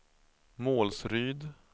Målsryd